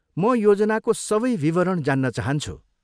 म योजनाको सबै विवरण जान्न चाहन्छु।